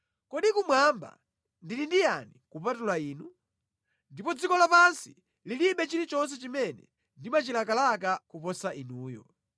Kodi kumwamba ndili ndi yani kupatula Inu? Ndipo dziko lapansi lilibe chilichonse chimene ndimachilakalaka koposa Inuyo.